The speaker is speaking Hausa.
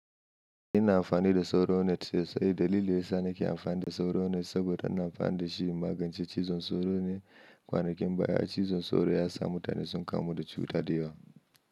Ina amfani da sauro net ne, sai dalili yasa nake amfani da sauro net saboda ina amfani da shi magance cizon sauro ne, kwanakin baya cizon sauro ya samu mutane sun kamu da cuta da yawa.